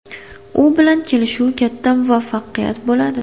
U bilan kelishuv katta muvaffaqiyat bo‘ladi.